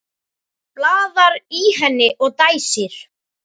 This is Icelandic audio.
Blaðar í henni og dæsir.